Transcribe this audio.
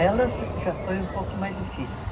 Elas já foi um pouco mais difícil.